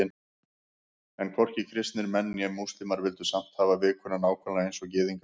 En hvorki kristnir menn né múslímar vildu samt hafa vikuna nákvæmlega eins og Gyðingar.